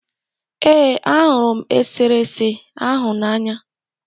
ee, ahụrụ m eserese ahụ n'anya